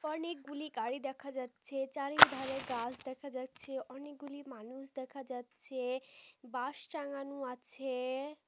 অনেকগুলি গাড়ি দেখা যাচ্ছে চারিধারে গাছ দেখা যাচ্ছে অনেকগুলি মানুষ দেখা যাচ্ছে বাস চালানো আছে।